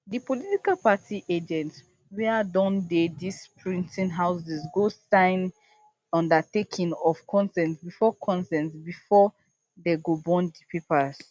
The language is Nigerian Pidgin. di political party agents wia don dey dis printing houses go sign undertaking of consent bifor consent bifor dey go burn di papers